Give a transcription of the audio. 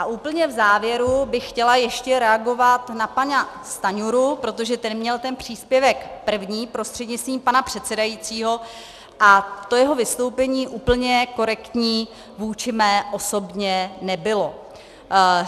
A úplně v závěru bych chtěla ještě reagovat na pana Stanjuru, protože ten měl ten příspěvek první, prostřednictvím pana předsedajícího, a to jeho vystoupení úplně korektní vůči mé osobě nebylo.